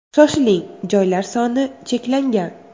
Shoshiling joylar soni cheklangan!